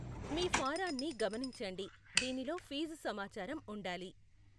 మీ ఫారాన్ని గమనించండి, దీనిలో ఫీజు సమాచారం ఉండాలి.